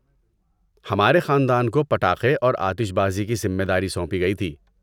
ہمارے خاندان کو پٹاخے اور آتش بازی کی ذمہ داری سونپی گئی تھی۔